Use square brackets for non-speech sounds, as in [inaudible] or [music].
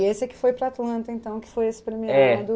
E esse é que foi para a Atlanta, então, que foi [unintelligible]